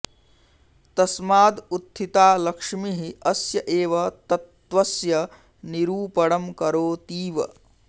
तस्माद् उत्थिता लक्ष्मीः अस्य एव तत्त्वस्य निरूपणम् करोतीव